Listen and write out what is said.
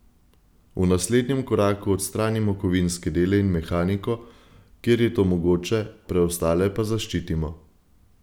V naslednjem koraku odstranimo kovinske dele in mehaniko, kjer je to mogoče, preostale pa zaščitimo.